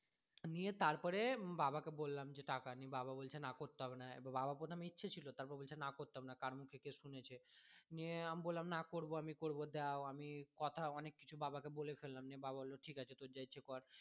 নিয়ে তারপরে বাবা কে বললাম যে টাকা নি বাবা বলছে যে না করতে হবে না বাবার প্রথমে ইচ্ছে ছিলো দিয়ে তারপরে বলছে যে না করতে হবে না কার মুখে কি শুনেছে নিয়ে আমি বললাম না করবো আমি করবো দাও আমি কথা অনেক কথা কিছু বাবা কে বলে ফেললাম নিয়ে বাবা বললো যে ঠিক আছে তোর যা ইচ্ছা কর